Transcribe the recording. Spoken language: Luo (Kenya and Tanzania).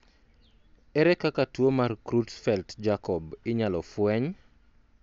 ere kaka tuo mar Creutzfeldt Jakob inyalo fweny?